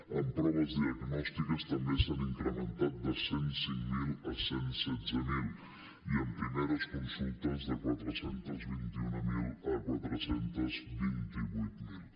en proves diagnòstiques també s’han incrementat de cent i cinc mil a cent i setze mil i en primeres consultes de quatre cents i vint mil a quatre cents i vint vuit mil